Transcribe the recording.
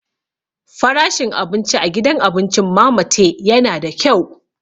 Farashin abinci a gidan abincin Mama Tee yana da kyau.